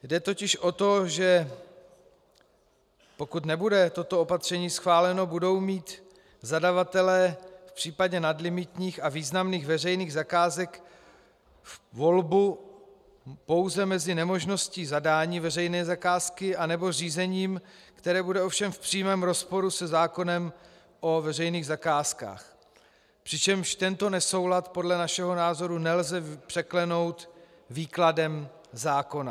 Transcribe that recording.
Jde totiž o to, že pokud nebude toto opatření schváleno, budou mít zadavatelé v případě nadlimitních a významných veřejných zakázek volbu pouze mezi nemožností zadání veřejné zakázky a řízením, které bude ovšem v přímém rozporu se zákonem o veřejných zakázkách, přičemž tento nesoulad podle našeho názoru nelze překlenout výkladem zákona.